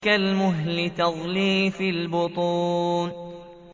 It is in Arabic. كَالْمُهْلِ يَغْلِي فِي الْبُطُونِ